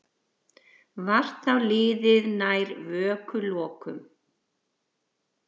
Var þá liðið nær vökulokum.